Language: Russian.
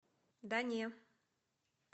да не